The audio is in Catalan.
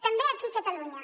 també aquí a catalunya